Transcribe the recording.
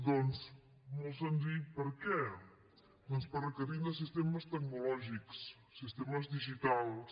doncs molt senzill per què doncs perquè requerim sistemes tecnològics sistemes digitals